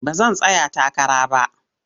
Ba zan tsaya takara ba.